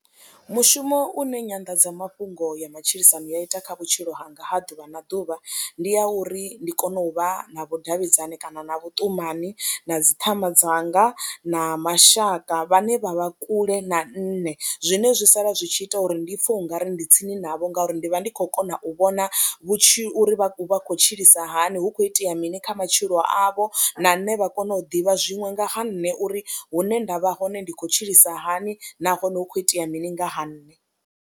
Mushumo une nyanḓadzamafhungo ya matshilisano ya ita kha vhutshilo hanga ha ḓuvha na ḓuvha ndi ya uri ndi kone u vha na vhudavhidzani kana na vhuṱumani na dzi ṱhama dzanga na mashaka vhane vha vha kule na nṋe, zwine zwi sala zwi tshi ita uri ndi pfha u nga ri ndi tsini navho ngauri ndi vha ndi khou kona u vhona vhutshilo uri vha vha khou tshilisa hani, hu khou itea mini kha matshilo avho na nṋe vha kone u ḓivha zwiṅwe nga ha nṋe uri hune nda vha hone ndi khou tshilisa hani nahone hu khou itea mini nga ha nṋe.